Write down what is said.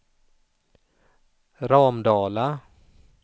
Ramdala